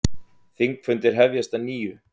Þingfundir hefjast að nýju